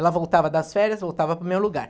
Ela voltava das férias, voltava para o meu lugar.